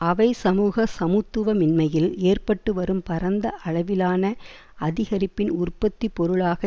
அவை சமூக சமத்துவமின்மையில் ஏற்பட்டுவரும் பரந்த அளவிலான அதிகரிப்பின் உற்பத்தி பொருளாக